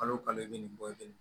Kalo kalo i bɛ nin bɔ i bɛ nin